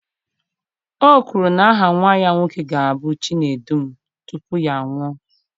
O kwuru na aha nwa ya nwoke ga-abụ Chinedum tupu ya anwụọ